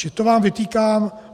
Čili to vám vytýkám.